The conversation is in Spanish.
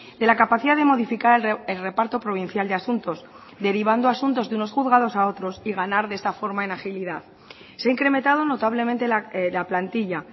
de la capacidad de modificar el reparto provincial de asuntos derivando asuntos de unos juzgados a otros y ganar de esta forma en agilidad se ha incrementado notablemente la plantilla